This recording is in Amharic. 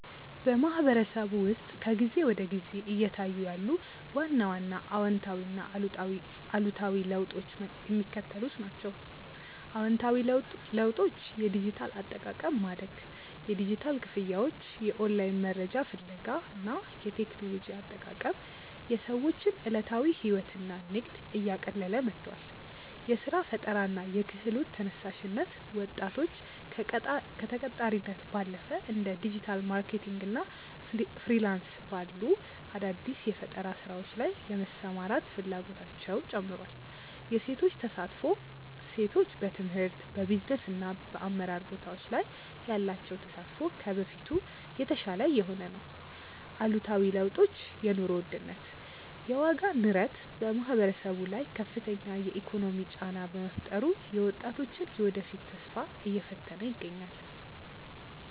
በማህበረሰቡ ውስጥ ከጊዜ ወደ ጊዜ እየታዩ ያሉ ዋና ዋና አዎንታዊና አሉታዊ ለውጦች የሚከተሉት ናቸው፦ አዎንታዊ ለውጦች የዲጂታል አጠቃቀም ማደግ፦ የዲጂታል ክፍያዎች፣ የኦንላይን መረጃ ፍለጋ እና የቴክኖሎጂ አጠቃቀም የሰዎችን ዕለታዊ ሕይወትና ንግድ እያቀለለ መጥቷል። የሥራ ፈጠራና የክህሎት ተነሳሽነት፦ ወጣቶች ከተቀጣሪነት ባለፈ እንደ ዲጂታል ማርኬቲንግ እና ፍሪላንስ ባሉ አዳዲስ የፈጠራ ሥራዎች ላይ የመሰማራት ፍላጎታቸው ጨምሯል። የሴቶች ተሳትፎ፦ ሴቶች በትምህርት፣ በቢዝነስና በአመራር ቦታዎች ላይ ያላቸው ተሳትፎ ከበፊቱ የተሻለ እየሆነ ነው። አሉታዊ ለውጦች የኑሮ ውድነት፦ የዋጋ ንረት በማህበረሰቡ ላይ ከፍተኛ የኢኮኖሚ ጫና በመፍጠሩ የወጣቶችን የወደፊት ተስፋ እየፈተነ ይገኛል።